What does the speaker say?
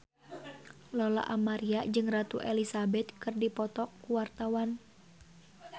Lola Amaria jeung Ratu Elizabeth keur dipoto ku wartawan